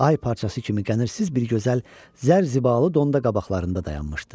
Ay parçası kimi qədirsiz bir gözəl zərzibalı donda qabaqlarında dayanmışdı.